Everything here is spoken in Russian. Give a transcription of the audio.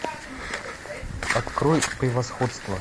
открой превосходство